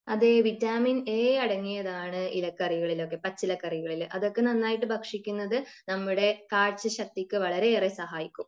അതെ vitamin A അടങ്ങിയതാണ് ഇലക്കറികളിലൊക്കെ പച്ചിലക്കറികളിൽ അതൊക്കെ നന്നായിട്ട് ഭക്ഷിക്കുന്നത് നമ്മുടെ കാഴ്ച ശക്തിക്ക് വളരെയേറെ സഹായിക്കും